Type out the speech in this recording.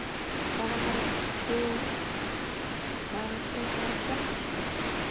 Það er bara gott sko.